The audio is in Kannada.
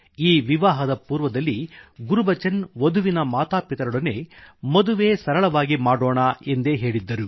ಈ ವಿವಾಹದ ಪೂರ್ವದಲ್ಲಿಗುರ್ಬಚನ್ ವಧುವಿನ ಮಾತಾಪಿತರೊಡನೆಮದುವೆ ಸರಳವಾಗಿ ಮಾಡೋಣಎಂದೇ ಹೇಳಿದ್ದರು